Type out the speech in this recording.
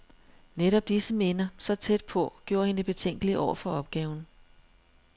Netop disse minder, så tæt på, gjorde hende betænkelig over for opgaven.